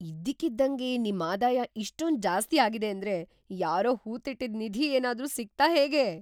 ಇದ್ಕಿದ್ದಂಗೆ ನಿಮ್ ಆದಾಯ ಇಷ್ಟೊಂದ್‌ ಜಾಸ್ತಿ ಆಗಿದೆ ಅಂದ್ರೆ ಯಾರೋ ಹೂತಿಟ್ಟಿದ್‌ ನಿಧಿ ಏನಾದ್ರೂ ಸಿಕ್ತಾ ಹೇಗೆ?!